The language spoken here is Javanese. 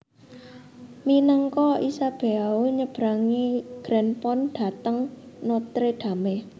Minangka Isabeau nyebrangi Grand Pont dhateng Notre Dame